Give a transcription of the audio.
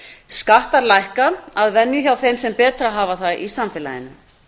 skattar lækka að venju hjá þeim sem betra hafa það í samfélaginu